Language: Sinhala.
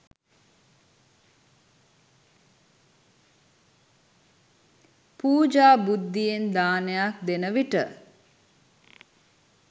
පූජා බුද්ධියෙන් දානයක් දෙන විට